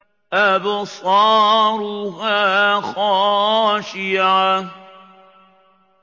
أَبْصَارُهَا خَاشِعَةٌ